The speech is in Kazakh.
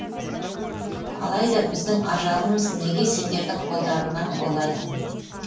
алайда біздің ажалымыз неге сендердің қолдарыңнан болады